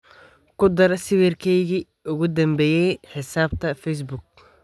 ku dar sawirkeygii ugu dambeeyay xisaabta facebook